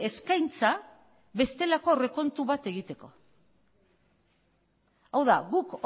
eskaintza bestelako aurrekontu bat egiteko hau da guk